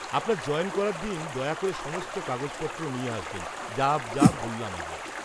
-আপনার জয়েন করার দিন দয়া করে সমস্ত কাগজপত্র নিয়ে আসবেন যা যা বললাম আগে।